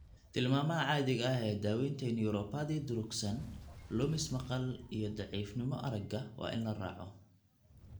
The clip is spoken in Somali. Tilmaamaha caadiga ah ee daaweynta neuropathy durugsan, lumis maqal iyo daciifnimo aragga waa in la raaco.